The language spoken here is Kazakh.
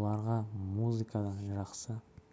оларға музыкадан жақсы